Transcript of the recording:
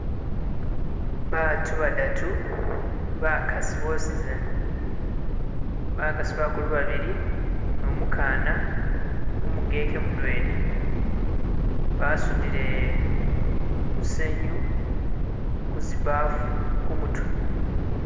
Abantu badatu, bakasi bosizana. Bakasi bakulu babili numukana umujeke mudwena basudile gumusenyu ku zibbafu ku mutwe.